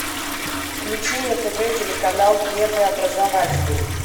включи на тв телеканал первый образовательный